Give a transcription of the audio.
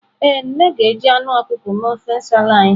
Ee, nne ga-eji ọkụkọ mee ofe nsala anyị.